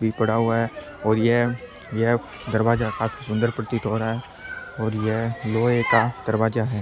भी पड़ा हुआ है और यह यह दरवाजा काफी सुंदर प्रतीत हो रहा है और यह लोहे का दरवाजा है।